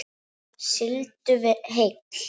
Sigldu heill.